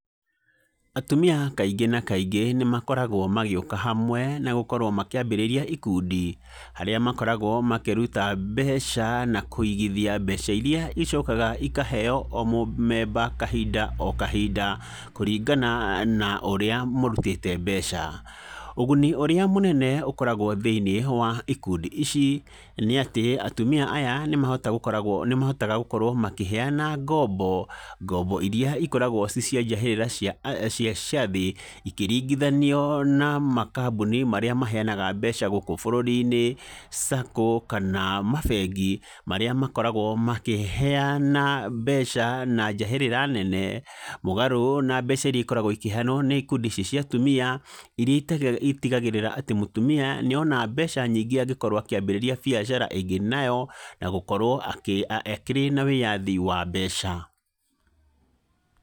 Atumia kaingĩ na kaingĩ nĩ makoragwo magĩũka hamwe, na gũkorwo makĩambĩrĩria ikundi, harĩa makoragwo makĩruta mbeca na kũigithia mbeca iria icokaga ikaheyo o mũmemba kahinda o kahinda, kũringana na ũrĩa mũrutĩte mbeca, ũguni ũrĩa mũnene ũkoragwo thĩinĩ wa ikundi ici, nĩ atĩ, atumia aya nĩ mahota gukoragwo nĩ mahotaga gũkorwo makĩheyana ngombo, ngombo iria ikoragwo cicia njahĩrĩra cia aah cia ciathĩ, ikĩringithanio na makambuni marĩa maheyanaga mbeca gũkũ bũrũri-inĩ, Sacco, kana mabengi, marĩa makoragwo makĩheyana mbeca na njahĩrĩra nene, mũgarũ na mbeca iria ikoragwo ikĩheyanwo nĩ ikundi ici cia tumia, iria ite itigagĩrĩra atĩ mũtumia nĩona mbeca nyingĩ angĩkorwo akĩambĩrĩria biacara aingĩ nayo, na gũkorwo akĩ akĩrĩ na wĩyathi wa mbeca.